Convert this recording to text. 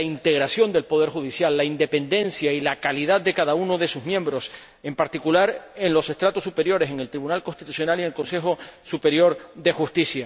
integridad del poder judicial, la independencia y la calidad de cada uno de sus miembros, en particular, en los estratos superiores, en el Tribunal Constitucional y en el Consejo Superior de Justicia.